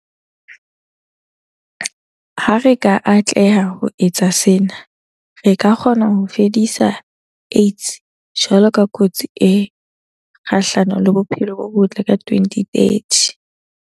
Ha re ka atleha ho etsa sena, re ka kgona ho fedisa AIDS jwalo ka kotsi e kgahlano le bophelo bo botle ka 2030.